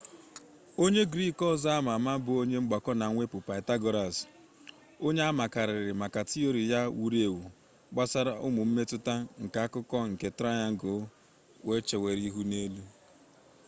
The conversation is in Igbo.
onye griik ọzọ ama ama bụ onye mgbakọ na mwepụ pythagoras onye amakarịrị maka tiori ya wuru ewu gbasara ụmụ mmetụta nke akụkụ nke trayangụlụ chewere ihu n'elu